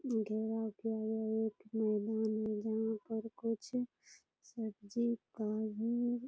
घेराव किया गया है यहाँ मैदान में जहाँ पर कुछ सब्जी --